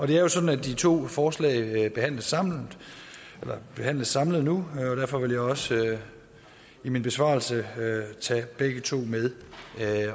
det er jo sådan at de to forslag behandles samlet behandles samlet nu og derfor vil jeg også i min besvarelse tage begge to med